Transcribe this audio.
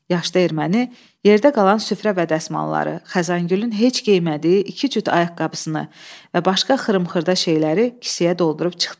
Yaşlı erməni yerdə qalan süfrə və basmaları, Xəzəngülün heç geymədiyi iki cüt ayaqqabısını və başqa xırım-xırda şeyləri kisəyə doldurub çıxdı.